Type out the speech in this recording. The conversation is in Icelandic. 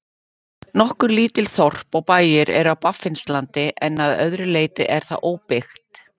Nokkur lítil þorp og bæir eru á Baffinslandi en að öðru leyti er það óbyggt.